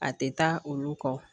A tɛ taa olu kɔ